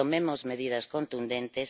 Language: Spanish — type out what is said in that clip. Tomemos medidas contundentes.